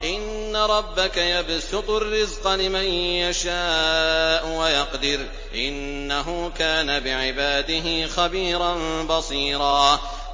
إِنَّ رَبَّكَ يَبْسُطُ الرِّزْقَ لِمَن يَشَاءُ وَيَقْدِرُ ۚ إِنَّهُ كَانَ بِعِبَادِهِ خَبِيرًا بَصِيرًا